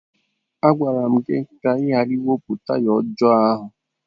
M gwara gị ka ị ghara iwepụ taya ọjọọ ahụ!